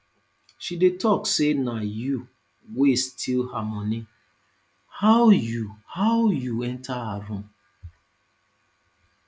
she dey talk say na you wey steal her money how you how you enter her room